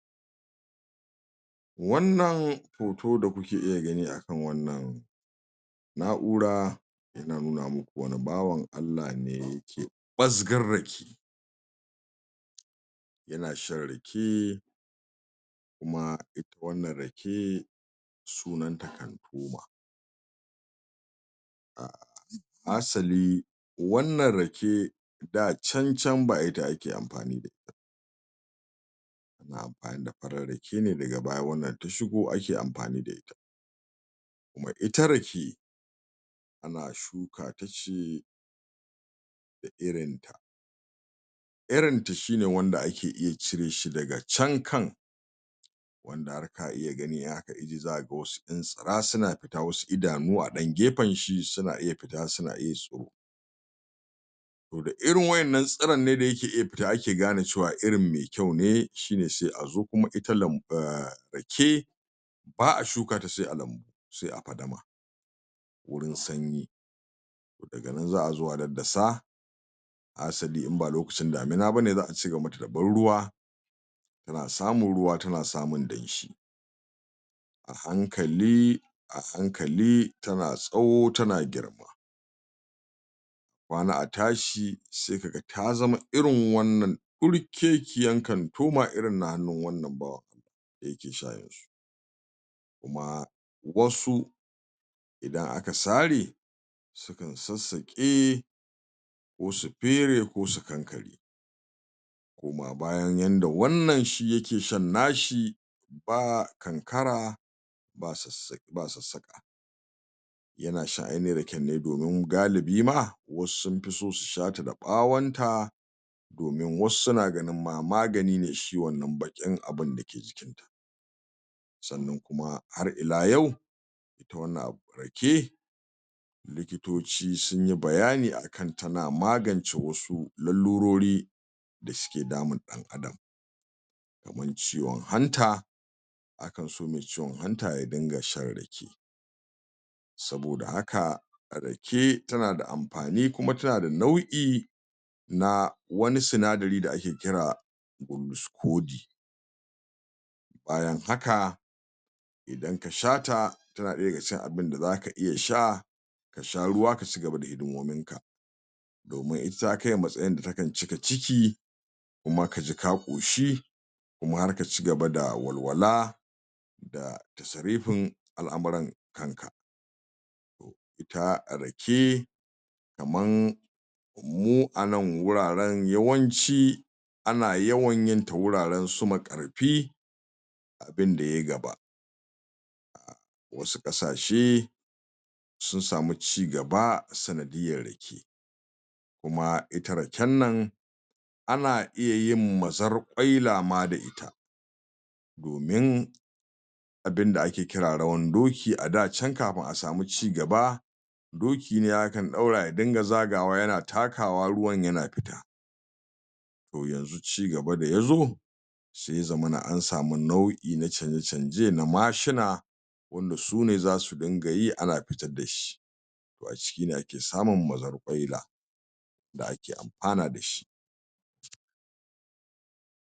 wanna hoto da kuke iya gani akan wannan na'ura ana nuna muku wani bawan Allah ne da yake ɓasgar rake yana shan rake kuma wannan rake sunanta hanɗuma hasali wannan rake dacancan ba ita ake amfani ita ba ana amfani da farar rake ne daga baya wannan ta shigo ake amfani da ita kuma ita rake ana shukata ce da irinta irinta shine wanda ake iya cireshi daga can kan wanda har ka iya gani in aka ije za aga wasu ƴan tsira suna fita wasu idanu a ɗan a gefenshi suna iya fita suan iya su saboda irin wa innan tsiran ne da yake iya fita ake gane cewa irin me kyau ne shine sai a zo kuma ita ita rake ba a shukata sai a lanbu sai a fadama wurin sanyi daga nan za a zo a daddasa hasali inba lokacin damina bane za a cigaban mata da ban ruwa tana samun ruwa tana samun danshi a hankali a hankali tana tsawo tana girma a kwana a tashi sai kaga ta zama irin wannan ɗorkekiyan kantoma irin na hannun wanna bawan Allah da yake sha yanzu kuma wasu idan aka sare sukan sassaƙe ko su fere ko su sassaƙe koma bayan yanda wannan shi yake shan nashi ba kankara ba sassaƙa yana shan ainahin raken ne domin galibi ma wasu sunfiso su shata da ɓawanta domin wasu suna ganin ma magani ne shi wannan baƙin abun da ke jikinta sanan kuma har ila yau ita wannan abu rake likitoci sunyi bayani akan tana magance wasu lalururi da suke damun ɗan adam kamar ciwan hanta akanso me ciwan hanta ya dinga shan rake saboda haka rake tana da amfan kumai tana da nau'i na wani sanadari da ake kira biliskodi bayan haka idan ka shata tana ɗaya daga cikin abinda zaka iya sha kasha ruwa ka cigaba da hidimominka domin ita ta kai a matsayin da takan cika ciki kuma kaji ka koshi kuma har ka cigaba da walwala da tasa rifin al'amuran kanka ta rake kaman mu anan wuraran yawanci ana yawanyin ta wuraransu makarfi abinda yayi gaba a wasu ƙasashe sunsamu cigaba ta sanadiyyar rake kuma ita raken nan ana iyayin mazarƙwaila ma da ita domin abinda ake kira rawan doki ada can kafin a samu cigaba doki ne akan ɗaura ya dinga zagawa yana takawa ruwan yana fita to yanzu cigaba da yazo sai ya zamana ansamu nau'i na canje canje na mashina wanda sune zasu dinga yi ana fitar dashi to a cikine ake samun mazarƙwaila da ake amfana dashi